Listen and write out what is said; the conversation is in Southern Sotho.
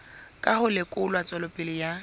ka ho lekola tswelopele ya